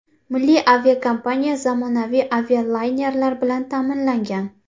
Milliy aviakompaniya zamonaviy avialaynerlar bilan ta’minlangan.